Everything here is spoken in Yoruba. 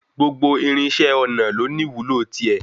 Gbogbo irinṣẹ́ ọnà ló ní ìwúlò ti é.